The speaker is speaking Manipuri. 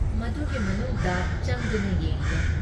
ꯃꯗꯨꯒꯤ ꯃꯅꯨꯡꯗ ꯆꯪꯗꯨꯅ ꯌꯦꯡꯂꯦ ꯫